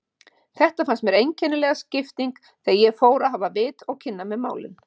Þetta fannst mér einkennileg skipting þegar ég fór að hafa vit og kynna mér málin.